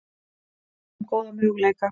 Eigum góða möguleika